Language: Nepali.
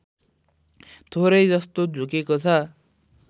थोरै जस्तो झुकेको छ